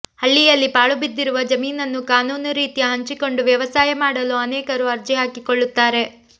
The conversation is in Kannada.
ಹಳ್ಳಿಯಲ್ಲಿ ಪಾಳುಬಿದ್ದಿರುವ ಜಮೀನನ್ನು ಕಾನೂನು ರೀತ್ಯಾ ಹಂಚಿಕೊಂಡು ವ್ಯವಸಾಯ ಮಾಡಲು ಅನೇಕರು ಅರ್ಜಿಹಾಕಿಕೊಳ್ಳುತ್ತಾರೆ